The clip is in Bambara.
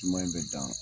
Ɲuman in bɛ dan